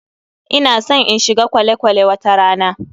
Ina san in shiga kwale-kwale wata rana.